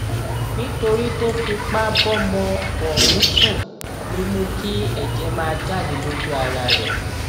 nítorí tó fipá bọmọ ọhún sùn ló mú kí ẹjẹ máa jáde lójú ara rẹ